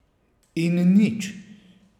In nič.